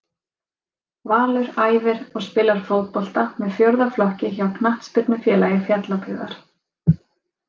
Valur æfir og spilar fótbolta með fjórða flokki hjá Knattspyrnufélagi Fjallabyggðar.